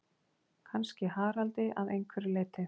Kannski Haraldi að einhverju leyti.